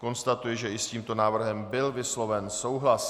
Konstatuji, že i s tímto návrhem byl vysloven souhlas.